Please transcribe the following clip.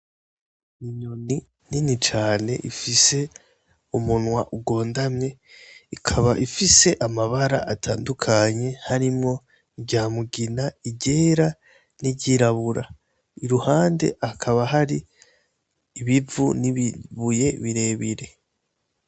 Inyoni nini cane ifise umunwa ugondamye ikaba ifise amabara atandukanye harimwo irya mugina iryera n'iryirabura, iruhande hakaba hari ibivu n'ibibuye birebire.